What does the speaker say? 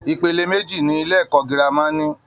Ipele méjì ni ilé-ẹ̀kọ́ gírámà ní.